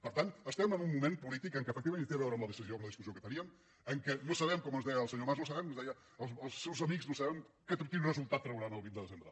per tant estem en un moment polític en què efectivament hi té a veure amb la decisió amb la discussió que teníem que no sabem com ens deia el senyor mas no sabem ens deia els seus amics no sabem quin resultat trauran el vint de desembre